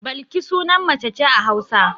Balki sunan mace ce a Hausa.